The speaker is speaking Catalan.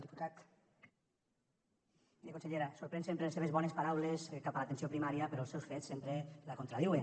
miri consellera sorprenen sempre les seves bones paraules cap a l’atenció primària però els seus fets sempre la contradiuen